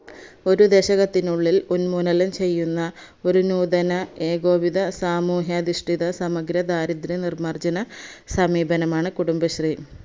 ഒരു ദശകത്തിനുള്ളിൽ ഉന്മൂലനം ചെയ്യുന്ന ഒരു നൂതന ഏകോപിത സാമൂഹിയതിഷ്ടിത സമഗ്ര ദാരിദ്ര നിർമാർജന സമീപനമാണ് കുടുംബശ്രീ